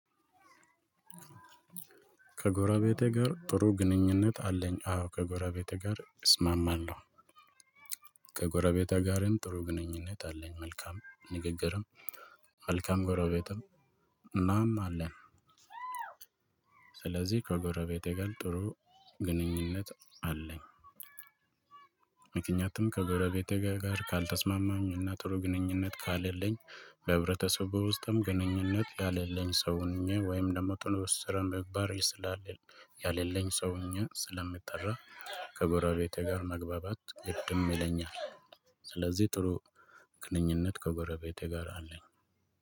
ከጎራቤቴ ጋር ጥሩ ግንኙነት አለኝ። አዎ ከጎራቤቴ ጋር እስማማለሁ። ከጎረቤቴ ጋርም ጥሩ ግንኙነት አለኝ። መልካም ንግግርም መልካም ጎረቤትም እናም አለኝ። ስለዚህ ከጎረቤት ጋም ጥሩ ግንኙነት አለኝ። ምክንያቱም ከገረቤቴ ጋር ካልተስማማሁኝና ጥሩ ግንኙነት ከሌለኝ በህብረተሰቡ ውስጥም ግንኙነት የሌለኝ ሰው ሆኜ ወይም ደግሞ ጥሩ ስነ ምግባር የሌለኝ ሰው ሆኘ ስለምጠራ ከጎረቤቴ ጋር መግባባት ግድም ይለኛል። ስለዚህ ጥሩ ግንኙነት ከጎረቤቴ ጋር አለኝ።